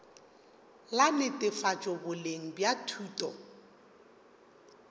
la netefatšo boleng bja thuto